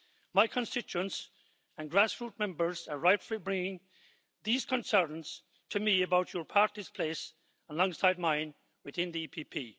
My constituents and grassroot members are rightfully bringing these concerns to me about your party's place alongside mine within the PPE.